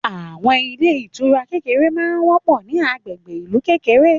Àwọn ilé ìtura kékèké ma ń wọ́pọ̀ ní agbègbè ìlú kékèké